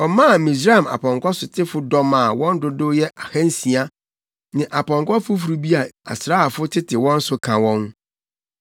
Ɔmaa Misraim apɔnkɔsotefo dɔm a wɔn dodow yɛ ahansia ne apɔnkɔ foforo bi a asraafo tete wɔn so ka wɔn.